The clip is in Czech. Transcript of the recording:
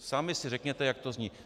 Sami si řekněte, jak to zní.